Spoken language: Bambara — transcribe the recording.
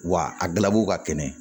Wa a dila u ka kɛnɛ